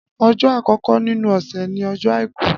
Ọjọ àkọkọ nínú ọsẹ ni ọjọ àìkú